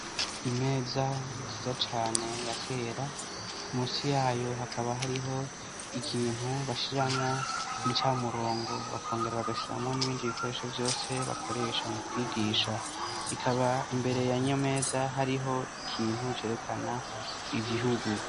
Imeza nziza cane ya kera musi yayo hakaba hariho ikintu bashiramwo incamurongo bakongera bagashiramwo n'ibindi bikoresho vyose bakoresha mu kwigisha ikaba imbere ya nyo meza hariho ikintu cerekana ivihugu.